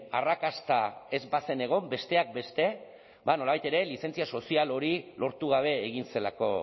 arrakasta ez bazen egon besteak beste ba nolabait ere lizentzia sozial hori lortu gabe egin zelako